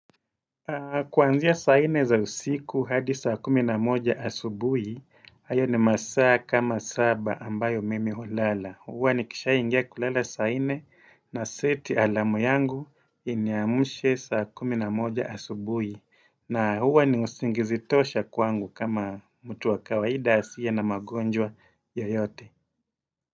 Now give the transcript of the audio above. Kwaanzia saa nne za usiku hadi saa kumi na moja asubuhi, hayo ni masaa kama saba ambayo mimi ulala. Huwa nikisha ingia kulala saa nne naseti alamu yangu iniamushe saa kumi na moja asubuhi. Na huwa ni usingizi tosha kwangu kama mtu wa kawaida hasiye na magonjwa yoyote.